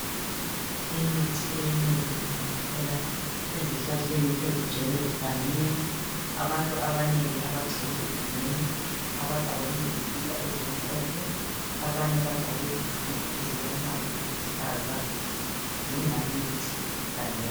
Imithi eminengi siyithola ezihlahleni ezigcwele egangeni. Abantu abanengi abagcwele egangeni abagqoke izikipa ezimhlophe. Abanye bagqoke izikipa ezilombala oluhlaza, badinga imithi egangeni.